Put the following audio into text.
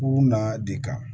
U na de kan